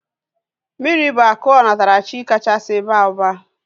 Mmiri bụ akụ onatarachi kachasị baa ụba